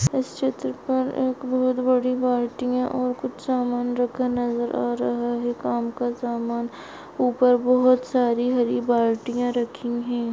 इस चित्र पर एक बहुत बड़ी बाल्टीया और कुछ समान रखा नजर आ रहा है काम का समान ऊपर बहुत सारी हरी बाल्टीया रखी है।